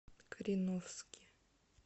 кореновске